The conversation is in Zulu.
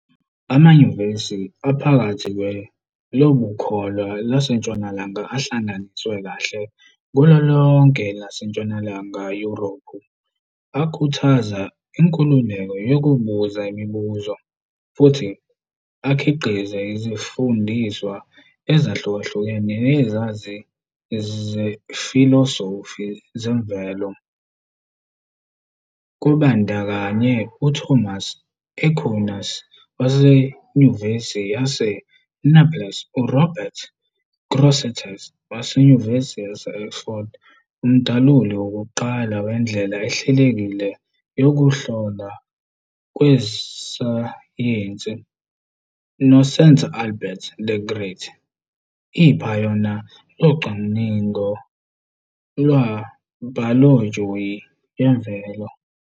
Amanyuvesi aphakathi kweLobukholwa laseNtshonalanga ahlanganiswe kahle kulo lonke elaseNtshonalanga Yurophu, akhuthaza inkululeko yokubuza imibuzo, futhi akhiqiza izifundiswa ezahlukahlukene nezazi zefilosofi zemvelo, kubandakanya uThomas Aquinas waseNyuvesi yaseNaples, uRobert Grosseteste waseNyuvesi yase-Oxford, umdaluli wokuqala wendlela ehlelekile yokuhlolwa kwesayensi, noSanta Albert the Great, iphayona locwaningo lwebhayoloji yemvelo.